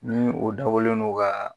Ni o dabɔlen don ka